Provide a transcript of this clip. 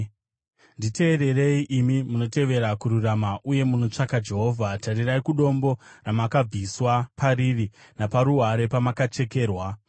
Nditeererei, imi munotevera kururama uye munotsvaka Jehovha: Tarirai kudombo ramakabviswa pariri naparuware pamakacherwa;